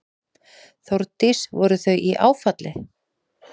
Þórdís: Voru þau í áfalli?